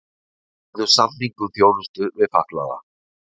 Gerðu samning um þjónustu við fatlaða